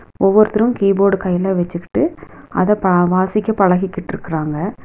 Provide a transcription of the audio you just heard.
ஒவ்வொருதரு keyboard கைல வெச்சுக்கிட்டு அத பா வாசிக்க பழகிகிட்ருக்காங்க.